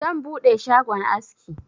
Zan buɗe shagon aski.